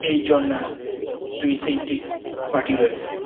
পিছনটার দুই সাইডে মাটি রয়েছে।